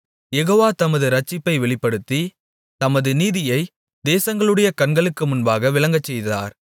யெகோவா தமது இரட்சிப்பை வெளிப்படுத்தி தமது நீதியை தேசங்களுடைய கண்களுக்கு முன்பாக விளங்கச்செய்தார்